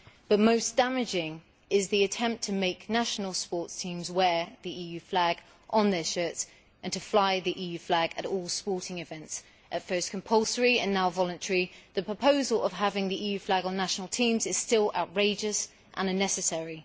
But most damaging is the attempt to make national sports teams wear the EU flag on their shirts and to fly the EU flag at all sporting events. At first this was compulsory and now it is voluntary, but the proposal to have the EU flag on national teams is still outrageous and unnecessary.